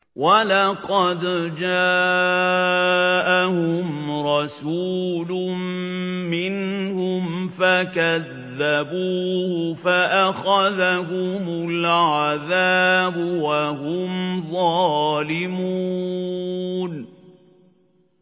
وَلَقَدْ جَاءَهُمْ رَسُولٌ مِّنْهُمْ فَكَذَّبُوهُ فَأَخَذَهُمُ الْعَذَابُ وَهُمْ ظَالِمُونَ